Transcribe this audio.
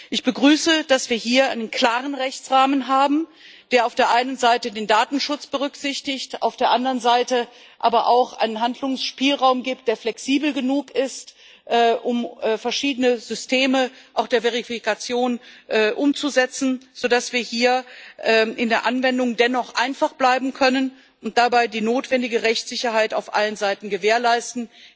Ich begrüße, dass wir hier einen klaren Rechtsrahmen haben, der auf der einen Seite den Datenschutz berücksichtigt, auf der anderen Seite aber auch einen Handlungsspielraum gibt, der flexibel genug ist, um auch verschiedene Systeme der Verifikation umzusetzen, so dass wir hier in der Anwendung dennoch einfach bleiben können und dabei die notwendige Rechtssicherheit auf allen Seiten gewährleisten.